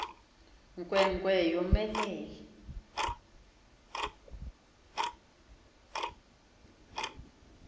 nkwe nkwe yomelele